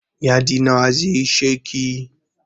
Yadi nawa zai isheki?